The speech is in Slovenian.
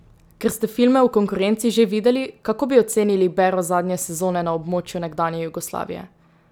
Ker ste filme v konkurenci že videli, kako bi ocenili bero zadnje sezone na območju nekdanje Jugoslavije?